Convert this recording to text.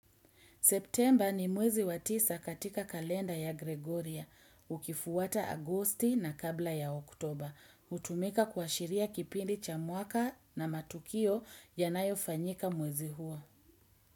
September ni mwezi watisa katika kalenda ya Gregoria, ukifuwata Agosti na kabla ya Oktober. Utumika kwa shiria kipindi cha mwaka na matukio yanayo fanyika mwezi huo.